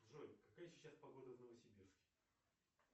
джой какая сейчас погода в новосибирске